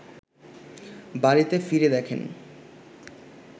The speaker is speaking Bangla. বাড়িতে ফিরে দেখেন